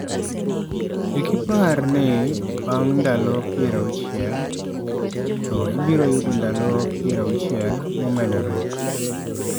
Kik ipar ni bang' ndalo 60, to ibiro yudo ndalo 60 momedore".